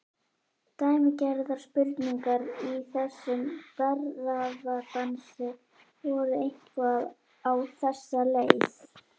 Dæmigerðar spurningar í þessum darraðardansi voru eitthvað á þessa leið